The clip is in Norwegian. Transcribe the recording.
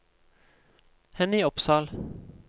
Henny Opsahl